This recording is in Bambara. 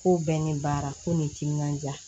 Ko bɛɛ ni baara ko ni timinandiya